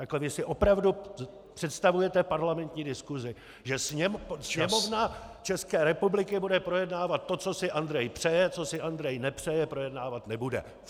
Takhle vy si opravdu představujete parlamentní diskusi, že Sněmovna České republiky bude projednávat to, co si Andrej přeje, co si Andrej nepřeje, projednávat nebude?